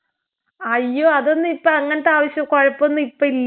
അയ്യോ അതൊന്നും ഇപ്പൊ അങ്ങനത്തെ ആവശ്യം കൊഴപ്പമൊന്നും ഇപ്പൊ ഇല്ലാ.